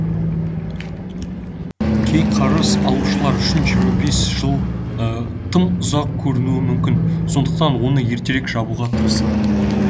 кей қарыз алушылар үшін жиырма бес жыл тым ұзақ көрінуі мүмкін сондықтан оны ертерек жабуға тырысады